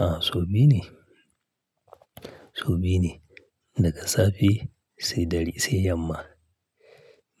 A, so biyu ne. So biyu ne. Daga safe sai ɗare sai yamma.